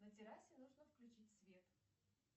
на террасе нужно включить свет